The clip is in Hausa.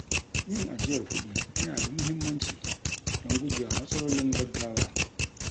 Yin ajiyar kuɗi yana da muhimmanci don gujewa matsalolin gaggawa.